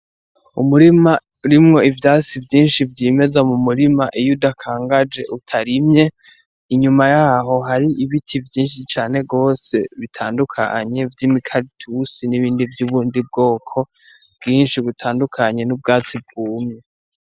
Umurima urimo ivyatsi vyishi vyimeza vyimeza mu murima iyo udakangaje utarimye inyuma yaho hari ibiti vyishi cane gose bitandukanye vy'imikaratusi n'ibindi vy'ubundi bwoko bwishi butandukanye n'ubwatsi bwumye.